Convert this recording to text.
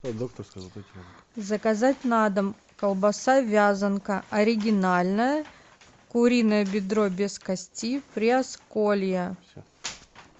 заказать на дом колбаса вязанка оригинальная куриное бедро без кости приосколье